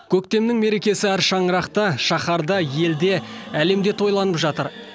көктемнің мерекесі әр шаңырақта шаһарда елде әлемде тойланып жатыр